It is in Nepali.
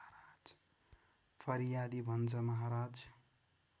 फरियादी भन्छ महाराज